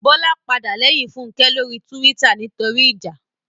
Bọ́lá padà lẹ́yìn Fúnkẹ́ lórí túwítà nítorí ìjà